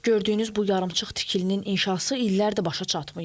Gördüyünüz bu yarımçıq tikilinin inşası illərdir başa çatmayıb.